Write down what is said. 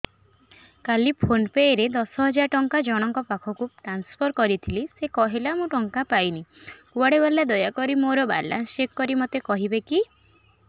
କାଲି PhonePe ରେ ଦଶ ହଜାର ଟଙ୍କା ଜଣକ ପାଖକୁ ଟ୍ରାନ୍ସଫର୍ କରିଥିଲି ସେ କହିଲା ମୁଁ ଟଙ୍କା ପାଇନି କୁଆଡେ ଗଲା ଦୟାକରି ମୋର ବାଲାନ୍ସ ଚେକ୍ କରି ମୋତେ କହିବେ କି